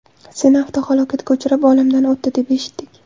Seni avtohalokatga uchrab, olamdan o‘tdi, deb eshitdik’.